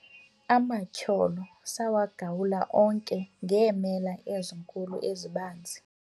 amatyholo sawagawula onke ngeemela ezinkulu ezibanzi